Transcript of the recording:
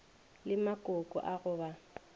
le makoko a go ba